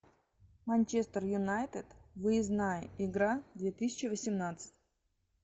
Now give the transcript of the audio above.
манчестер юнайтед выездная игра две тысячи восемнадцать